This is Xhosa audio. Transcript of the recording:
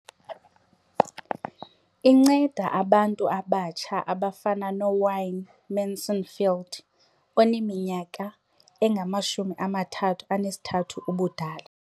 Incede abantu abatsha abafana noWayne Mansfield oneminyaka engama-33 ubudala.